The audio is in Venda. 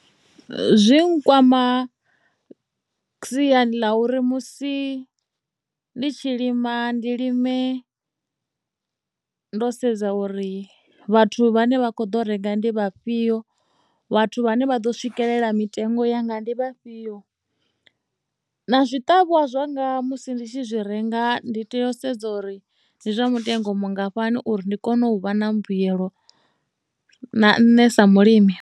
Zwi nkwama siani ḽa uri musi ndi tshi lima ndi lime ndo sedza uri vhathu vhane vha kho ḓo renga ndi vhafhio vhathu vhane vha ḓo swikelela mitengo ya nga ndi vhafhio na zwiṱavhiwa zwanga musi ndi tshi zwi renga ndi tea u sedza uri ndi zwa mutengo mungafhani uri ndi kone u vha na mbuyelo na nṋe sa mulimi.